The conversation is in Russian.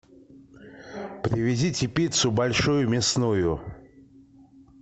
привезите пиццу большую мясную